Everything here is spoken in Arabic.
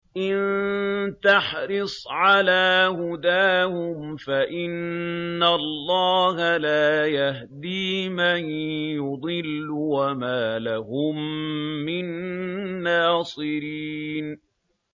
إِن تَحْرِصْ عَلَىٰ هُدَاهُمْ فَإِنَّ اللَّهَ لَا يَهْدِي مَن يُضِلُّ ۖ وَمَا لَهُم مِّن نَّاصِرِينَ